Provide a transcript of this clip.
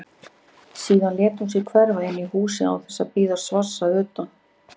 Síðan lét hún sig hverfa inn í húsið án þess að bíða svars að utan.